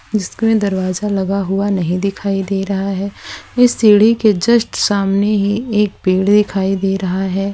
जिसके में दरवाजा लगा हुआ नहीं दिखाई दे रहा है इस सीढ़ी के जस्ट सामने ही एक पेड़ दिखाई दे रहा है।